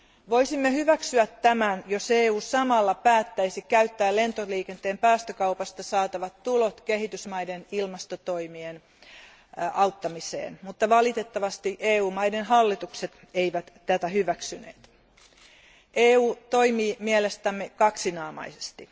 Voisimme hyväksyä tämän, jos EU samalla päättäisi käyttää lentoliikenteen päästökaupasta saatavat tulot kehitysmaiden ilmastotoimien auttamiseen, mutta valitettavasti EU maiden hallitukset eivät tätä hyväksyneet. EU toimii mielestämme kaksinaamaisesti.